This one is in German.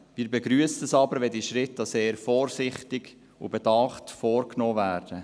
Wir begrüssen es aber, wenn diese Schritte sehr vorsichtig und bedacht vorgenommen werden.